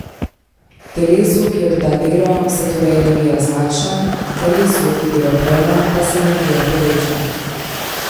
Telesu, ki odda delo, se torej energija zmanjša, telesu, ki delo prejme, pa se energija poveča.